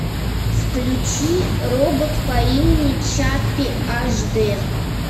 включи робот по имени чаппи ашдэ